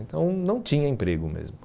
Então não tinha emprego mesmo.